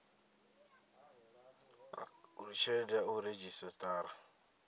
uri tshelede ya u redzhisiṱara